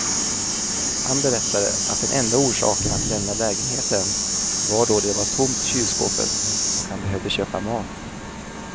Han berättade att den enda orsaken att lämna lägenheten var då det var tomt i kylskåpet och han behövde köpa mat.